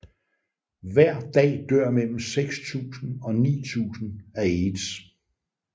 Hver dag dør mellem 6000 og 9000 af aids